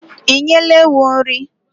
Ị nyela ewu nri?